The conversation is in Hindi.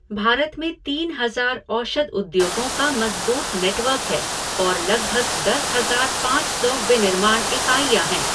भारत में तीन हज़ार औषध उद्योगों का मज़बूत नेटवर्क है और लगभग दस हज़ार पाँच सौ विनिर्माण इकाइयाँ हैं।